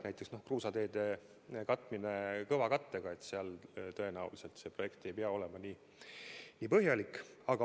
Näiteks kruusateede katmine kõvakattega – seal tõenäoliselt projekt ei pea nii põhjalik olema.